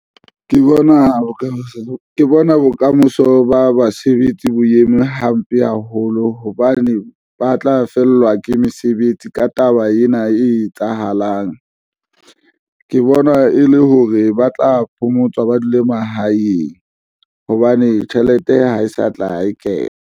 Ke bona bokamoso ba basebetsi bo eme hampe haholo hobane ba tla fellwa ke mesebetsi ka taba ena e etsahalang. Ke bona e le hore ba tla phomotswa ba dule mahaeng hobane tjhelete ha e sa tla e kena.